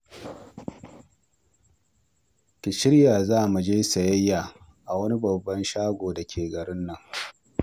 Ki shirya za mu je sayayya a wani babban shago da ke garin nan